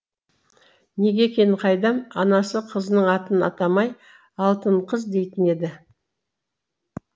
неге екенін қайдам анасы қызының атын атамай алтынқыз дейтін еді